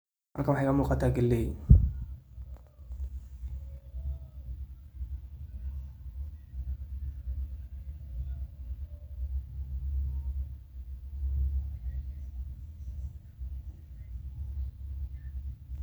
Halkan waxa iga muqatah kaleey .